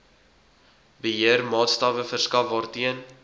beheermaatstawwe verskaf waarteen